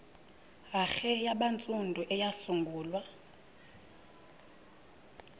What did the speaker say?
hare yabantsundu eyasungulwa